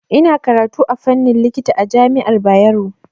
Ina karatu a fannin likita a jami'ar Bayero.